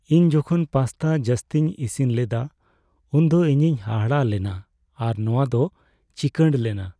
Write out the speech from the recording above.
ᱤᱧ ᱡᱚᱠᱷᱚᱱ ᱯᱟᱥᱛᱟ ᱡᱟᱹᱥᱛᱤᱧ ᱤᱥᱤᱱ ᱞᱮᱫᱟ ᱩᱱᱫᱚ ᱤᱧᱤᱧ ᱦᱟᱦᱟᱲᱟᱜ ᱞᱮᱱᱟ ᱟᱨ ᱱᱚᱶᱟ ᱫᱚ ᱪᱤᱠᱟᱹᱲ ᱞᱮᱱᱟ ᱾